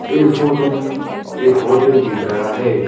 इस फोटो में एक होटल दिख रहा है।